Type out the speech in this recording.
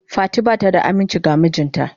Fati bata da aminci ga mijinta.